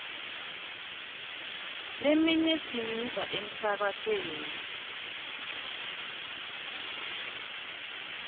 leminye siyiva emsakatweni